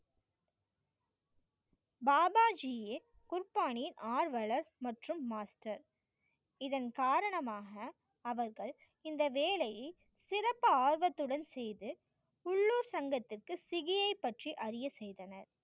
பாபா ஜி குர்பானி ஆர்வலர் மற்றும் master இதன் காரணமாக அவர்கள் இந்த வேலையை சிறப்பு ஆர்வத்துடன் செய்து உள்ளூர் சங்கத்திற்கு சிஜியை பற்றி அறிய செய்தனர்.